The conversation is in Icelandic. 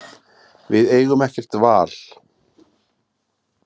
Við eigum ekkert val